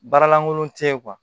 Baara lankolon te yen